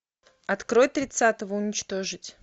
открой тридцатого уничтожить